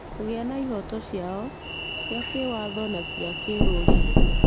kũgĩa na ihooto ciao cia kĩĩwatho na cia kĩrũrĩrĩ.